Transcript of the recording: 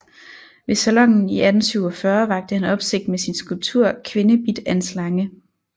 Ved Salonen i 1847 vakte han opsigt med sin skulptur Kvinde Bidt af en Slange